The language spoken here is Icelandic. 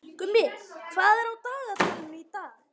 Gumi, hvað er á dagatalinu í dag?